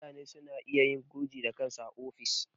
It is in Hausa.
Mutane suna iya yin gurji da kansu a ofis.